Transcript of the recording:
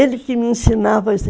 Ele que me ensinava.